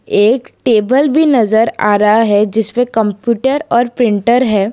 एक टेबल भी नजर आ रहा है जिसपे कंप्यूटर और प्रिंटर है।